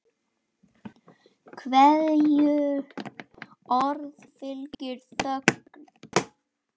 Hverju orði fylgir þögn.